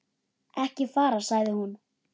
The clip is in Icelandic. Ekki fara, sagði hún.